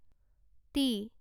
T